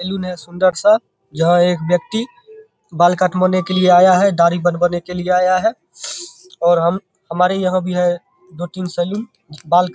salon है सुन्दर-सा यहाँ एक व्यक्ति बाल कटवाने के लिए आया है दाढ़ी बनवाने के लिए आया है और हम हमारे यहाँ भी है दो- तीन सैलून बाल --